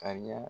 Ka ɲa